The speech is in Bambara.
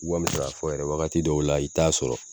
Wami k'a fɔ yɛrɛ wagati dɔw la i t'a sɔrɔ.